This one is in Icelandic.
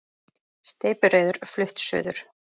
Steypireyður flutt suður